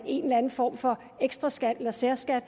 en eller en form for ekstraskat eller særskat